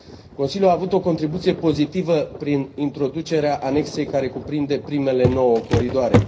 Consiliul a avut o contribuție pozitivă, prin introducerea Anexei care cuprinde primele nouă coridoare.